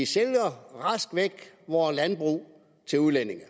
sælger vore landbrug til udlændinge